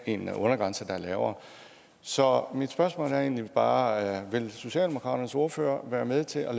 en undergrænse der er lavere så mit spørgsmål er egentlig bare vil socialdemokraternes ordfører være med til at